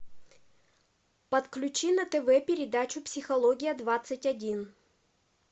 подключи на тв передачу психология двадцать один